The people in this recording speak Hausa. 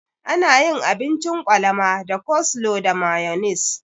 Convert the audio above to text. Ana yin abincin kwalama da coslo da mayonis.